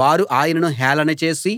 వారు ఆయనను హేళన చేసి